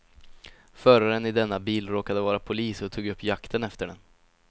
Föraren i denna bil råkade vara polis och tog upp jakten efter dem.